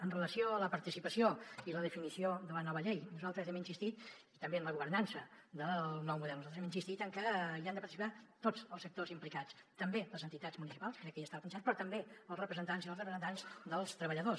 amb relació a la participació i la definició de la nova llei i també en la governança del nou model nosaltres hem insistit en que hi han de participar tots els sectors implicats també les entitats municipals crec que ja estava pensat però també els representants i les representants dels treballadors